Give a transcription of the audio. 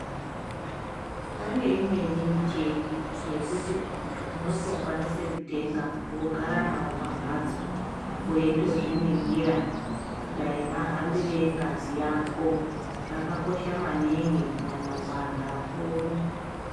Pane imweni michini yekuti vantu unokwanisa kutenga wogara nawo pambatso weitozviningira dai mahambire engazi Yako zvakakosha maningi kunyanya kuvantu vakuru.